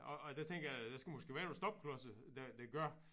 Og og der tænker jeg der skal måske være nogle stopklodser der der gør